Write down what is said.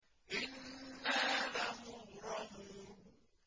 إِنَّا لَمُغْرَمُونَ